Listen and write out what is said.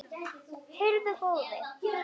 Heyrðu góði.